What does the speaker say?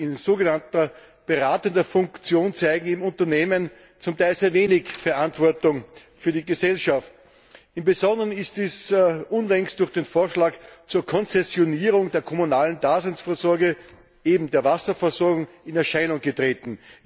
In sogenannter beratender Funktion zeigen eben Unternehmen zum Teil sehr wenig Verantwortung für die Gesellschaft. Im Besonderen ist es unlängst durch den Vorschlag zur Konzessionierung der kommunalen Daseinvorsorge, eben der Wasserversorgung, in Erscheinung getreten.